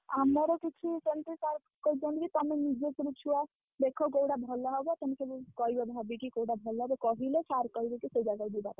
ଆମର କିଛି ସେମିତି sir କହିଛନ୍ତିକି, ତମେ ନିଜ ତରଫରୁ ଛୁଆ ଦେଖ କୋଉଟା ଭଲ ହବ, ତମେ ସବୁ କହିବ ଭାବିକି କୋଉଟା ଭଲ ହବ, କହିଲେ sir କହିବେ ସେ ଜାଗାକୁ ଯିବା ପାଇଁ,